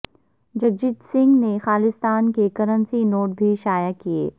جگجیت سنگھ نے خالصتان کے currency note بھی شائع کیئے